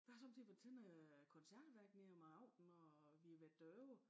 Jeg har sommetider været til noget koncertværk nede om aftenen når vi har været derovre